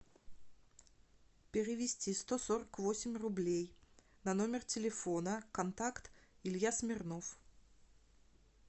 перевести сто сорок восемь рублей на номер телефона контакт илья смирнов